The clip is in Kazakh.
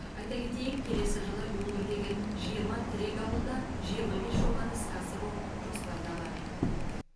айта кетейік келесі жылы өңірдегі жиырма тірек ауылда жиырма бес жобаны іске асыру жоспарда бар